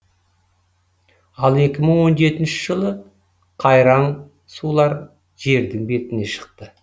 ал екі мың он жетінші жылы қайраң сулар жердің бетіне шықты